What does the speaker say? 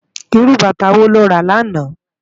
Irú bàtá wó ló rá làná?